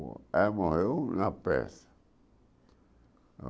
Ela morreu na pressa.